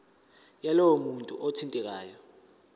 yalowo muntu othintekayo